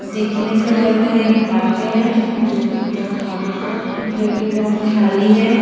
देखने से लग रहा है एक पार्क है जो कि पूरा खाली है जो कि बहुत खाली है।